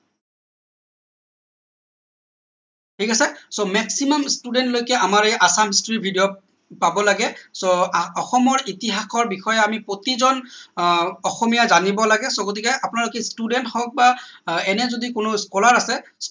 ঠিক আছে so maximum student লৈকে আমাৰ এই assam history video পাব লাগে so অসমৰ ইতিহাসৰ বিষয়ে আমি প্ৰতিজন আহ অসমীয়া জানিব লাগে so গতিকে আপোনালোকে student হওঁক বা আহ এনে যদি কোনো scholar আছে